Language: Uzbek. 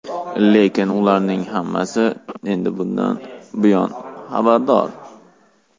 Lekin ularning hammasi endi bundan xabardor.